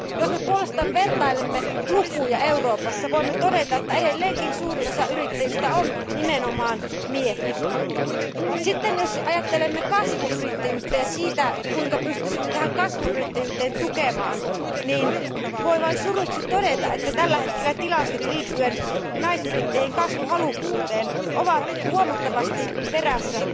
Jos me puolestaan vertailemme lukuja Euroopassa, voimme todeta, että edelleenkin suurin osa yrittäjistä on nimenomaan miehiä. Jos ajattelemme kasvuyrittäjyyttä ja sitä, kuinka pystyisimme tätä kasvuyrittäjyyttä tukemaan, niin voin vain surukseni todeta, että tällä hetkellä tilastot osoittavat naisyrittäjien kasvuhalukkuuden olevan myös huomattavasti jäljessä